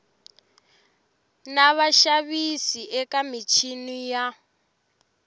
na vaxavis eka michini ya